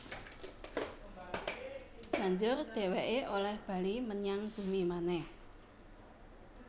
Banjur dhèwèké olèh bali menyang bumi manèh